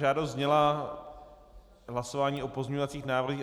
Žádost zněla - hlasování o pozměňovacích návrzích.